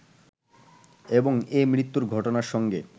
এবং এ মৃত্যুর ঘটনার সঙ্গে